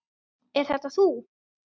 Er þetta þú?